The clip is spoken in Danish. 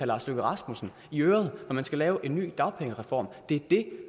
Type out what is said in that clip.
lars løkke rasmussen i øret når man skal lave en ny dagpengereform det er det